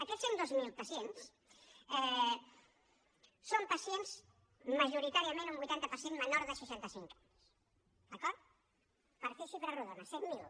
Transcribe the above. aquests cent i dos mil pacients són pacients majoritàriament un vuitanta per cent menors de seixanta cinc anys d’acord per fer xifres rodones cent miler